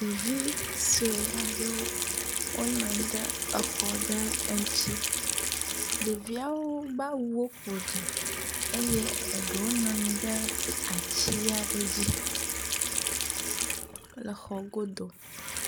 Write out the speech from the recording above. Ɖevi sue aɖewo wonɔanyi ɖe exɔ ɖe ŋutsi. Ɖeviawo ƒe be awuwo ƒoɖi eye eɖewo nɔ anyi ɖe atia ɖe dzi, le exɔ godo.